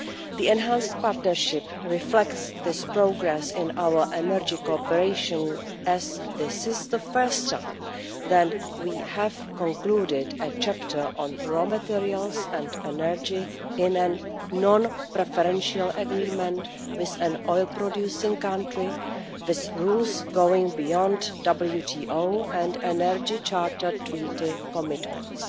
The Enhanced Partnership reflects this progress in our energy cooperation, as this is the first time that we have concluded a chapter on raw materials and energy in a non-preferential agreement with an oil producing country with rules going beyond WTO and Energy Charter Treaty commitments.